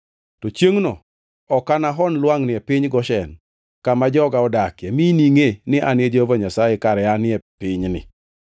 “ ‘To chiengʼno ok anahon lwangʼni e piny Goshen kama joga odakie, mi iningʼe ni an Jehova Nyasaye kare anie pinyni.